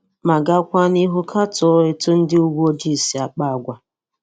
Ma gakwaa n'ihu katọọ etu ndi uweojii si àkpá àgwà.